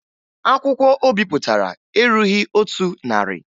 Akwụkwọ o bipụtara erughi otu narị